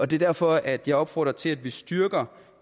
det er derfor at jeg opfordrer til at vi styrker